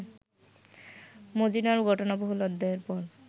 মজীনার ঘটনাবহুল অধ্যায়ের পর